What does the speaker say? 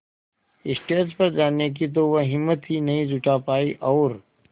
stage पर जाने की तो वह हिम्मत ही नहीं जुटा पाई और